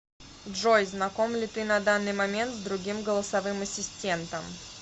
джой знаком ли ты на данный момент с другим голосовым ассистентом